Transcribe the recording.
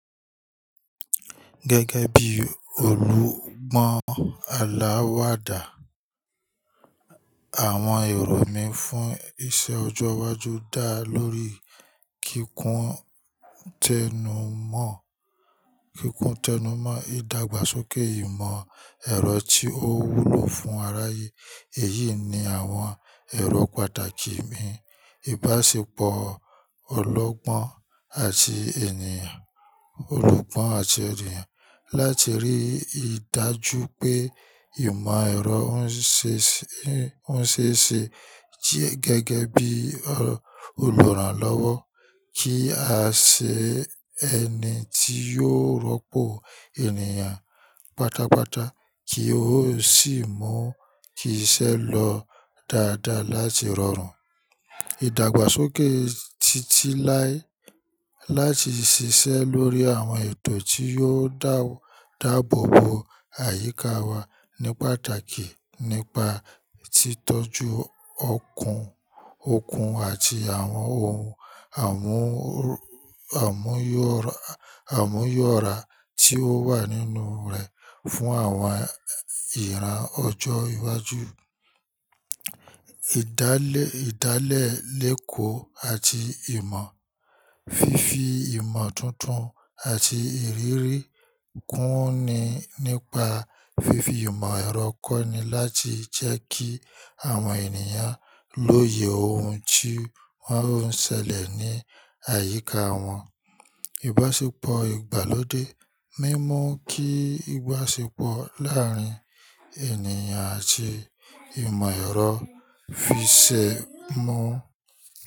Gẹ́gẹ́ bí olùgbọ́n aláwàdà, àwọn èrò mí fún iṣẹ́ ọjọ́ iwájú dá lórí kíkún tẹnumọ́, kíkún tẹnumọ́, ìdàgbàsókè ìmọ̀ ẹ̀rọ tí ó wúlò fún aráyé. Èyí ni àwọn èrò pàtàkì mi: ìbáṣepọ̀ olọ́gbọ́n àti ènìyàn, olùgbọ́n àti ènìyàn. Láti rí i dájú pé ìmọ̀ ẹ̀rọ ń ṣe ṣe, ń ṣe ṣe gẹ́gẹ́ bí olùrànlọ́wọ́ kí a sì ṣe ẹni tí yóò rọ́pò ènìyàn pátápátá kí ó sì mú kí iṣẹ́ lọ dáadáa láti rọrùn. Ìdàgbàsókè títí láé láti ṣiṣẹ́ lórí àwọn ètò tí yóò dáàbòbò àyíká wa ní pàtàkì nípa títọ́jú okun, okun àti àwọn ohun àmúyọ̀ra tí ó wà nínú rẹ̀ fún àwọn ìran ọjọ́ iwájú. Ìdálẹ̀ léko àti ìmọ̀. Fifi ìmọ̀ tuntun àti ìrírí kúnni nípa fífi ìmọ̀ ẹ̀rọ kọ́ ni láti jẹ́ kí àwọn ènìyàn lóye ohun tí wọ́n ń ṣẹlẹ̀ ní àyíká wọn. Ìbáṣepọ̀ ìgbàlódé mímú kí ìbáṣepọ̀ láàárín ènìyàn àti ìmọ̀ ẹ̀rọ fiṣẹ́ mọ́.